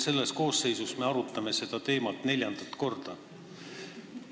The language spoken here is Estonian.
Selles koosseisus me arutame seda teemat neljandat korda.